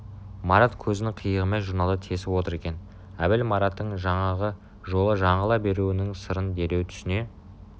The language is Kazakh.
марат көзінің қиығымен журналды тесіп отыр екен әбіл мараттың жаңағы жолы жаңыла беруінің сырын дереу түсіне